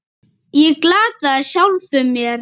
Ég glataði sjálfum mér.